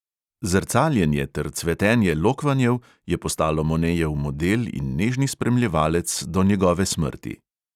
Zrcaljenje ter cvetenje lokvanjev je postalo monejev model in nežni spremljevalec do njegove smrti.